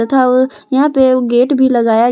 तथा वो यहां पे वो गेट भी लगाया --